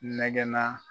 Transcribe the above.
Nɛgɛnna